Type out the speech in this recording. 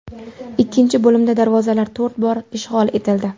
Ikkinchi bo‘limda darvozalar to‘rt bor ishg‘ol etildi.